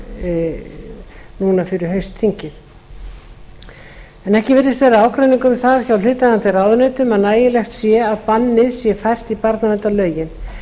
núna fyrir haustþingið ekki virðist vera ágreiningur um það hjá hlutaðeigandi ráðuneytum að nægilegt sé að bannið sé fært í barnaverndarlögin